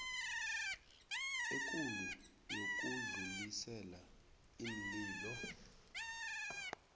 ekulu yokudlulisela iinlilo